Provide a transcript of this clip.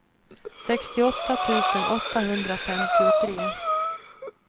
sextioåtta tusen åttahundrafemtiotre